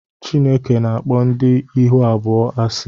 Chineke na-akpọ ndị ihu abụọ asị